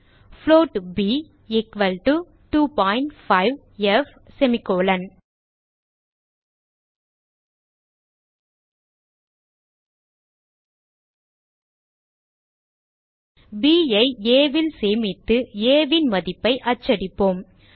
float f equal to 25ப் b ஐ a ல் சேமித்து a ன் மதிப்பை அச்சடிப்போம்